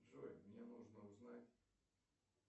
джой мне нужно узнать